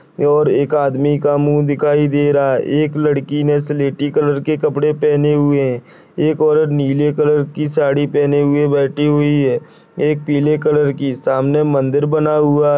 और एक आदमी का मुंह दिखाई दे रहा है एक लड़की ने स्लेटी कलर के कपड़े पहने हुये है एक औरत नीले कलर की साड़ी पहने हुये बैठी हुई है एक पीले कलर की सामने मन्दिर बना हुआ --